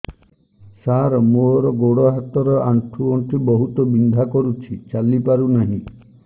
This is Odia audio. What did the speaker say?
ସାର ମୋର ଗୋଡ ହାତ ର ଆଣ୍ଠୁ ଗଣ୍ଠି ବହୁତ ବିନ୍ଧା କରୁଛି ଚାଲି ପାରୁନାହିଁ